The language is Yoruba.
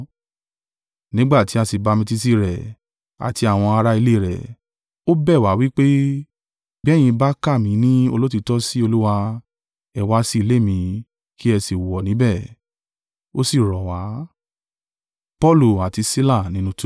Nígbà tí a sí bamitiisi rẹ̀, àti àwọn ara ilé rẹ̀, ó bẹ̀ wá, wí pé, “Bí ẹ̀yin bá kà mí ni olóòtítọ́ sí Olúwa, ẹ wá si ilé mi, kí ẹ sí wọ̀ níbẹ̀!” O sí rọ̀ wá.